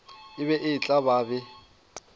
e be e tla be